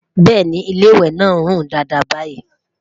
bẹẹni, ilé ìwé nà rún Dàda bayi